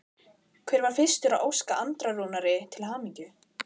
Hver var fyrstur til að óska Andra Rúnari til hamingju?